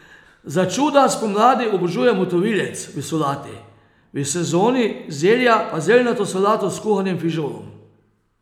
Za čuda spomladi obožuje motovilec v solati, v sezoni zelja pa zeljnato solato s kuhanim fižolom.